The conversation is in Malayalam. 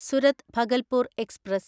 സുരത് ഭഗൽപൂർ എക്സ്പ്രസ്